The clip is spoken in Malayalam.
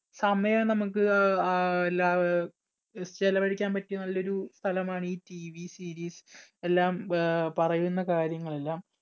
സമയം നമുക്ക് ആഹ് ആ ഇല്ലാ ചെലവഴിക്കാൻ പറ്റിയ നല്ലൊരു സ്ഥലമാണ് ഈ TVseries എല്ലാം അഹ് പറയുന്ന കാര്യങ്ങൾ എല്ലാം